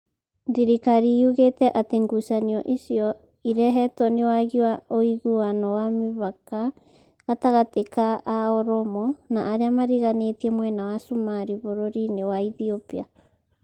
Thĩrĩkari yugĩte atĩ ngucanio icio irehetwo nĩ wagi wa ũigiano wa mũhaka gatagatĩ ka a Oromo na arĩa mariganĩtie mwena wa Cumarĩ bũrũri-inĩ wa Ethiopia